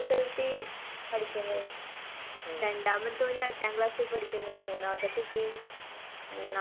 നല്ലെ മുന്നോട്ട്ണ്ടെങ്കില് നല്ല നല്ല ജോബ് കിട്ടും, ങും ഡിഗ്രിക്കൊക്കെ നല്ല വാല്യൂവാണിപ്പോ മൂല്യം ഇണ്ട്.